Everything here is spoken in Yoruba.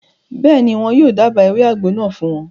Bẹ́ẹ̀ni, wọn yóò dába ewé àgbo náà fún wọn